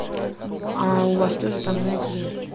а у вас тоже там знаете ли